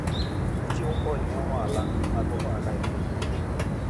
Ochiwo kony ne ohala mag ohala e piny mangima.